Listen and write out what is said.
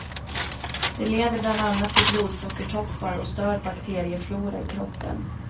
Det leder bland annat till blodsockertoppar och störd bakterieflora i kroppen.